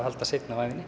seinna á ævinni